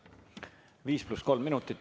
Viis pluss kolm minutit.